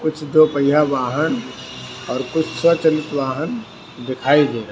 कुछ दो पहिया वाहन और कुछ स्वचालित वाहन देखाई दे रहे।